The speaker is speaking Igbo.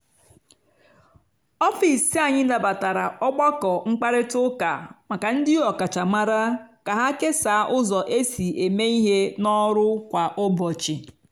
ọfịs anyị nabatara ọgbakọ mkparịta ụka maka ndị ọkachamara ka ha kesaa ụzọ e si eme ihe n’ọrụ kwa ụbọchị.